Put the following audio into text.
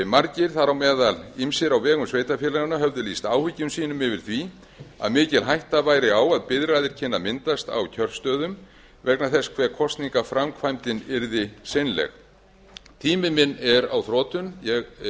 margir þar á meðal ýmsir á vegum sveitarfélaganna höfðu lýst áhyggjum sínum yfir því að mikil hætta væri á að biðraðir kynnu að myndast á kjörstöðum vegna þess hve kosningaframkvæmdin yrði seinleg tími minn er á þrotum ég á eftir